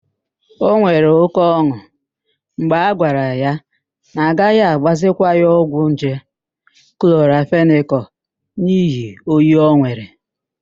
O nwere óké ọn̄ụ mgbe a gwara ya na agaghị agbazikwa ya ọgwụ nje klọramfenịkal n'ihi oyi o nwere.